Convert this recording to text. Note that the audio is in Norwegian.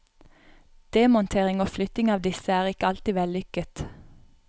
Demontering og flytting av disse er ikke alltid vellykket.